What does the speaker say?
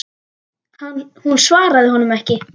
Hún svaraði honum ekki.